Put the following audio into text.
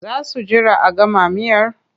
Za su jira a gama miyar?